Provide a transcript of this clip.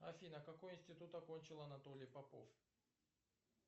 афина какой институт окончил анатолий попов